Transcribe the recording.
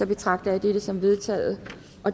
betragter jeg dette som vedtaget